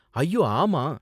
ஐயோ, ஆமா.